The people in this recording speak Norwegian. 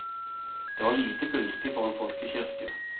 Det var lite gunstig for en folkekirke.